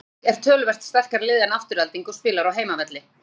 Breiðablik er með töluvert sterkara lið en Afturelding og spilar á heimavelli.